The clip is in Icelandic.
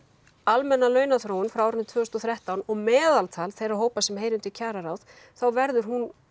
almenna launaþróun frá árinu tvö þúsund og þrettán og meðaltal þeirra hópa sem heyra undir kjararáð þá verður hún